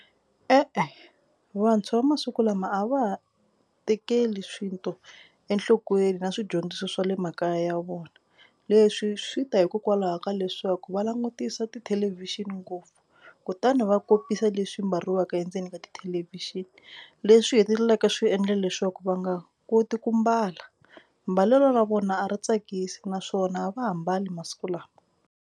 E-e vantshwa va masiku lama a va ha tekeli swinto enhlokweni na swidyondziso swa le makaya ya vona. Leswi swi ta hikokwalaho ka leswaku va langutisa tithelevhixini ngopfu kutani va kopisa leswi mbariwaka endzeni ka tithelevhixini leswi hetelelaka swi endla leswaku va nga koti ku mbala. Mbalelo ra vona a ri tsakisi naswona a va ha mbali masiku lawa.